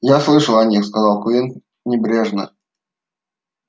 я слышал о них сказал куинн небрежно